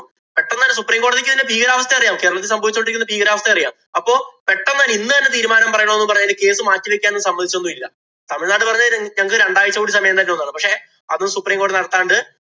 പെട്ടന്ന് supreme കോടതിക്ക് ഇതിന്‍റെ ഭീകരാവസ്ഥ അറിയാമോ? കേരളത്തില്‍ സംഭവിച്ചു കൊണ്ടിരിക്കുന്ന ഭീകരാവസ്ഥ അറിയാം. അപ്പൊ പെട്ടന്ന് ഇന്ന് തന്നെ തീരുമാനം പറയണം എന്ന് പറഞ്ഞ് അതിന്‍റെ case മാറ്റി വയ്ക്കാന്‍ സമ്മതിച്ചതൊന്നും ഇല്ല. തമിഴ്നാട് പറഞ്ഞതു ഞങ്ങക്ക് രണ്ടാഴ്ച കൂടി സമയം തരണം എന്നാണ്. പക്ഷേ, അതും supreme കോടതി നടത്താണ്ട്